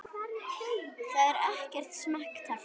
Það er ekkert small talk.